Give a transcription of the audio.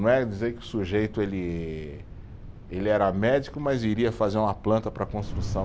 Não é dizer que o sujeito ele, ele era médico, mas iria fazer uma planta para construção.